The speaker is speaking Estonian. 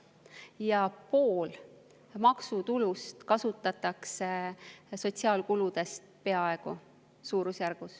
Peaaegu pool maksutulust kasutatakse sotsiaalkuludeks, suurusjärgus.